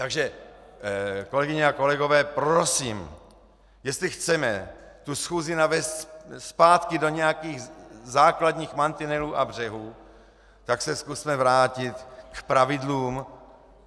Takže kolegyně a kolegové, prosím, jestli chceme tu schůzi navést zpátky do nějakých základních mantinelů a břehů, tak se zkusme vrátit k pravidlům.